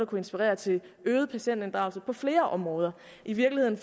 kunne inspirere til en øget patientinddragelse på flere områder i virkeligheden